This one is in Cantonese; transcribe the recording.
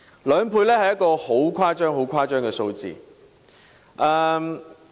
兩倍是一個很誇張的數字。